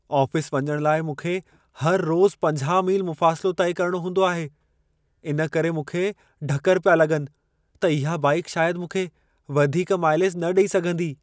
Office वञण लाइ मूंखे हर रोज़ 50 मील मुफ़ासिलो तइ करणो हूंदो आहे। इन करे मूंखे ढकरु पिया लॻनि त इहा बाइक शायद मूंखे वधीक माइलेज न ॾई सघंदी।